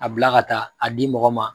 A bila ka taa, a di mɔgɔ ma